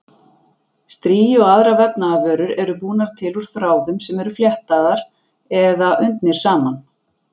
Strigi og aðrar vefnaðarvörur eru búnar til úr þráðum sem eru fléttaðir eða undnir saman.